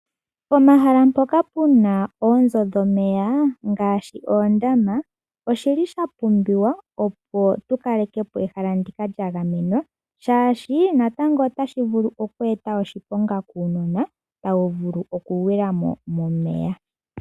Pomahala mpoka puna oonzo dhomeya ngaashi oondama oshili shapumbiwa opo tukalekepo ehala ndika lyagamenwa, shaashi natango otashi vulu okweeta oshiponga kuunona. Ohawu vulu okugwila momeya.